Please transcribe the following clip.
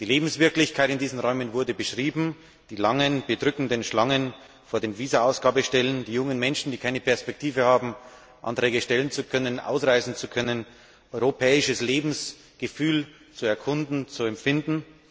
Die Lebenswirklichkeit in diesen Räumen wurde beschrieben die langen, bedrückenden Schlangen vor den Visa Ausgabestellen, die jungen Menschen, die keine Perspektive haben, einen Antrag stellen zu können, ausreisen zu können, europäisches Lebensgefühl zu erkunden, zu empfinden.